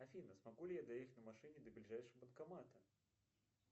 афина смогу ли я доехать на машине до ближайшего банкомата